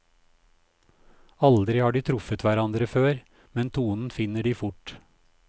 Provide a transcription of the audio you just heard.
Aldri har de truffet hverandre før, men tonen finner de fort.